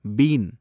been